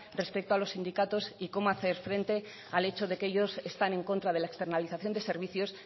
respecto a los sindicatos y cómo hacer frente al hecho de que ellos están en contra de la externalización de servicios